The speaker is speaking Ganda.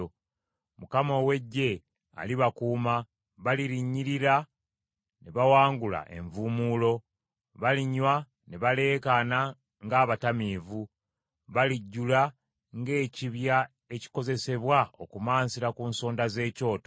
Mukama ow’Eggye alibakuuma. Balirinnyirira ne bawangula envuumuulo, balinywa ne baleekaana ng’abatamiivu. Balijjula ng’ekibya ekikozesebwa okumansira ku nsonda z’ekyoto.